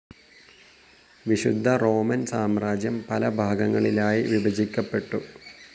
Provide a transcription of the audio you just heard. വിശുദ്ധ റോമൻ സാമ്രാജ്യം പലഭാഗങ്ങളായി വിഭജിക്കപ്പെട്ടു.